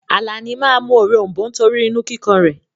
Àlàní máa mú òrom̀bó torí inú kíkan rẹ̀.